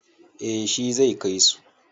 Eh shi zai kai su.